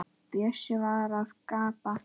Bjössi var að gabba.